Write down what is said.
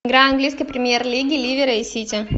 игра английской премьер лиги ливера и сити